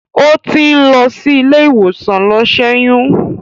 Ó ti ń lọ sí ilé ìwòsàn lọ ṣẹ́yún.